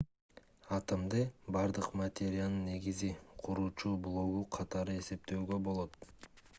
атомду бардык материянын негизги куруучу блогу катары эсептөөгө болот